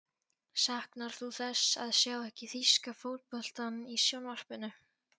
Saknar þú þess að sjá ekki þýska fótboltann í sjónvarpinu?